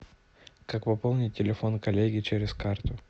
как пополнить телефон коллеги через карту